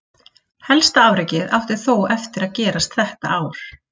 Helsta afrekið átti þó eftir gerast þetta ár.